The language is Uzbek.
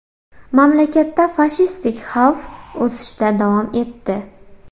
Mamlakatda fashistik xavf o‘sishda davom etdi.